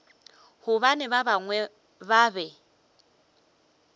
gobane ba bangwe ba be